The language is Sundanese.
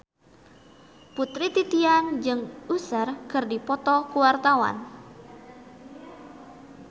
Putri Titian jeung Usher keur dipoto ku wartawan